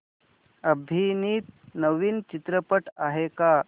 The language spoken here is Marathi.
अभिनीत नवीन चित्रपट आहे का